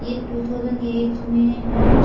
ये two thousand eight में है।